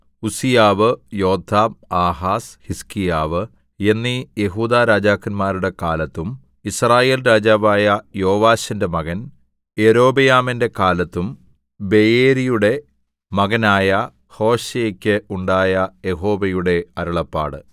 ഉസ്സീയാവ് യോഥാം ആഹാസ് ഹിസ്കീയാവ് എന്നീ യെഹൂദാ രാജാക്കന്മാരുടെ കാലത്തും യിസ്രായേൽ രാജാവായ യോവാശിന്റെ മകൻ യൊരോബെയാമിന്റെ കാലത്തും ബെയേരിയുടെ മകനായ ഹോശേയെക്ക് ഉണ്ടായ യഹോവയുടെ അരുളപ്പാട്